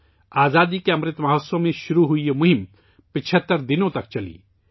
آزادی کے امرت مہوتسو میں شروع ہونے والی یہ مہم 75 دن تک جاری رہی